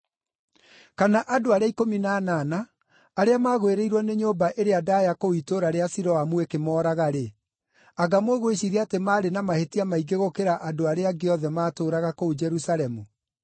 Kana andũ arĩa ikũmi na anana, arĩa magwĩrĩirwo nĩ nyũmba ĩrĩa ndaaya kũu itũũra rĩa Siloamu ĩkĩmooraga-rĩ, anga mũgwĩciiria atĩ maarĩ na mahĩtia maingĩ gũkĩra andũ arĩa angĩ othe maatũũraga kũu Jerusalemu?